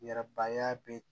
Yɛrɛbaya bɛ